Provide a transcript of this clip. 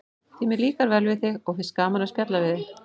Því mér líkar vel við þig og finnst gaman að spjalla við þig.